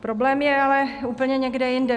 Problém je ale úplně někde jinde.